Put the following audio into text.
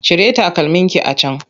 Cire takalmin ki a can!